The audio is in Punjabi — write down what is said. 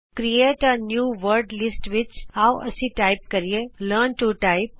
create a new word list ਵਿਚ ਆਉ ਅਸੀਂ ਟਾਈਪ ਕਰੀਏ ਲਰਨ ਟੂ ਟਾਈਪ